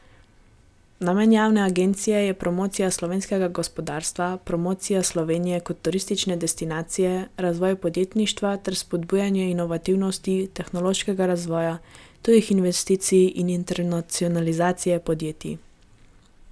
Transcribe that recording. Namen javne agencije je promocija slovenskega gospodarstva, promocija Slovenije kot turistične destinacije, razvoj podjetništva ter spodbujanje inovativnosti, tehnološkega razvoja, tujih investicij in internacionalizacije podjetij.